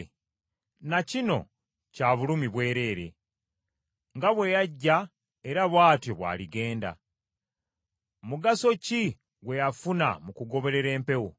Na kino kya bulumi bwereere: nga bwe yajja era bw’atyo bw’aligenda; mugaso ki gwe yafuna mu kugoberera empewo?